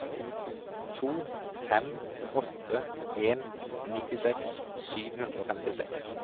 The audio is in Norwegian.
to fem åtte en nittiseks sju hundre og femtiseks